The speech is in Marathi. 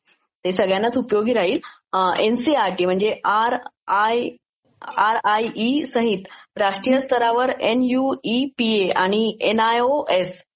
ते सगळ्यांनाच उपयोगी राहिलं. एनसीआरटी म्हणजे आरआय...आरआयई सहित राष्ट्रीय स्तरावर एनयूअपाए आणि एनआयओएस